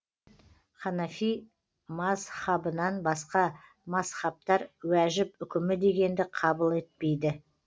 ханафи мазһабынан басқа мазһабтар уәжіп үкімі дегенді қабыл етпейді